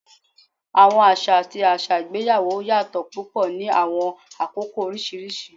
Awọn aṣa ati aṣa igbeyawo yatọ pupọ ni awọn akoko oriṣiriṣi